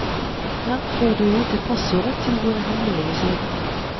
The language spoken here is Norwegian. Her får du vite passordet til våre hemmelige sider.